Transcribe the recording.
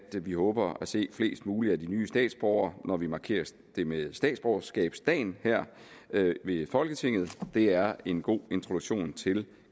vi håber at se flest muligt af de nye statsborgere når vi markerer det med statsborgerskabsdagen her i folketinget det er en god introduktion til